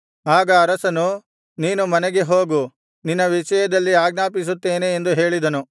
ಆಗ ಅರಸನು ನೀನು ಮನೆಗೆ ಹೋಗು ನಿನ್ನ ವಿಷಯದಲ್ಲಿ ಆಜ್ಞಾಪಿಸುತ್ತೇನೆ ಎಂದು ಹೇಳಿದನು